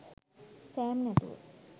Sam නැතුව